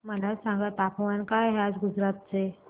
मला सांगा तापमान काय आहे गुजरात चे